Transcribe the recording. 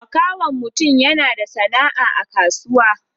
Makahon mutum yana da sana'a a kasuwa.